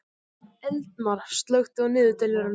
Eldmar, slökktu á niðurteljaranum.